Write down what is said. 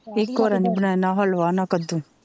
ਇੱਕ ਬਰੇ ਨੀ ਬਣਾਇਆ ਨਾਂ ਹਲਵਾ ਨਾਂ ਕੱਦੂ,